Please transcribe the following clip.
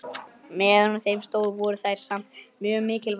Meðan á þeim stóð voru þær samt mjög mikilvægar.